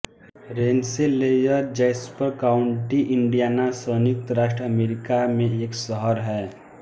Rensselaer Jasper County Indiana संयुक्त राज्य America में एक शहर है